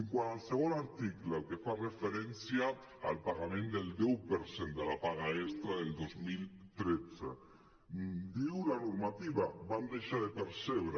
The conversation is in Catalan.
quant al segon article el que fa referència al pagament del deu per cent de la paga extra del dos mil tretze ho diu la normativa van deixar de percebre